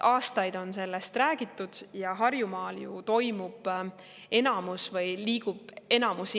Aastaid on sellest räägitud ja Harjumaal ju liigub enamus inimesi.